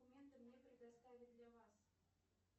документы мне предоставить для вас